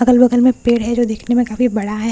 अगल बगल में पेड़ हैं जो दिखने में काफी बड़ा हैं और अच्छा लग--